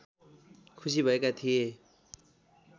खुसी भएका थिए